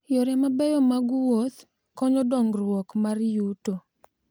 Yore mabeyo mag wuoth konyo dongruok mar yuto.